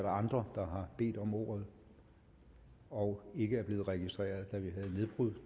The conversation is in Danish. andre der har bedt om ordet og ikke er blevet registreret da vi havde nedbrud